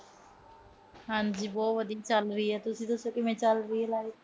ਹਾਂਜੀ। ਬਹੁਤ ਵਧੀਆ ਤੁਸੀਂ ਦੱਸੋ ਕਿਵੇਂ ਚਲ ਰਹੀ ਆ life